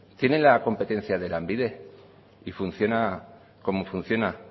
tienen la competencia de lanbide y funciona como funciona